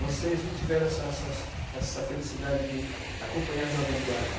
Vocês não tiveram essa essa essa felicidade de acompanhar a Jovem Guarda.